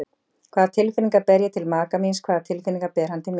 Hvaða tilfinningar ber ég til maka míns, hvaða tilfinningar ber hann til mín?